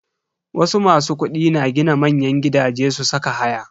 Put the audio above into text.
Wasu masu kudi na gina manyan gidaje su saka haya.